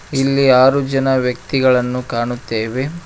ಇಲ್ಲಿ ಆರು ಜನ ವ್ಯಕ್ತಿಗಳನ್ನು ಕಾಣುತ್ತೇವೆ.